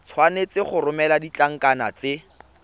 tshwanetse go romela ditlankana tse